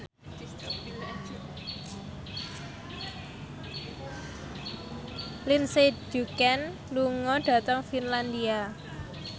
Lindsay Ducan lunga dhateng Finlandia